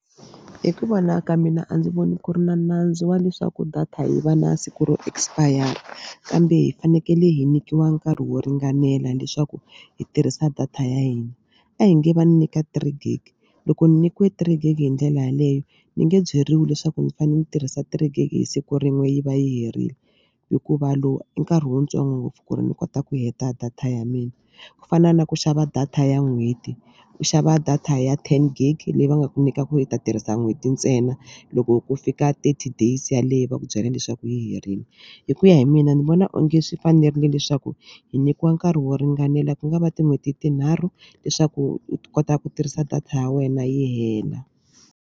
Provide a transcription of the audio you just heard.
Hi ku vona ka mina a ndzi voni ku ri na nandzu wa leswaku data hi va na siku ro expire kambe hi fanekele hi nyikiwa nkarhi wo ringanela leswaku hi tirhisa data ya hina. A hi nge va ni nyika three gig loko ni nyikiwe three gig hi ndlela yeleyo ni nge byeriwi leswaku ndzi fanele ndzi tirhisa three gig hi siku rin'we yi va yi herile hikuva lowu i nkarhi wuntsongo ngopfu ku ri ni kota ku heta data ya mina. Ku fana na ku xava data ya n'hweti u xava data ya ten gig leyi va nga ku nyika ku i ta tirhisa n'hweti ntsena loko ku fika thirty days yaleyo va ku byela leswaku yi herile hi ku ya hi mina ndzi vona onge swi fanerile leswaku hi nyikiwa nkarhi wo ringanela ku nga va tin'hweti tinharhu leswaku hi kota ku tirhisa data ya wena yi hela.